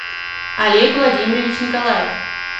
олег владимирович николаев